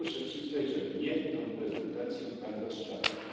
Ja muszę przyznać, że mnie tą prezentacją Pan rozczarował.